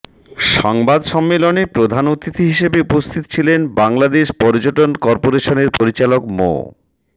সংবাদ সম্মেলনে প্রধান অতিথি হিসেবে উপস্থিত ছিলেন বাংলাদেশ পর্যটন করপোরেশনের পরিচালক মো